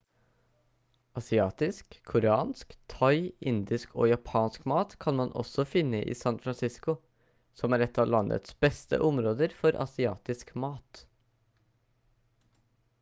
asiatisk koreansk thai indisk og japansk mat kan man også finne i san francisco som er et av landets beste områder for asiatisk mat